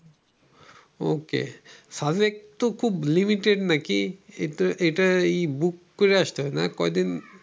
সাজেক তো খুব limited না কি এটা এটা বুক করে হয় নাই কয়দিন